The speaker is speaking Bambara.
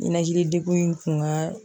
Ninakilidegun in kun ka